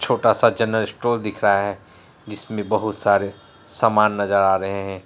छोटा सा general store दिख रहा है जिसमे बहुत सारे सामान नजर आ रहे है।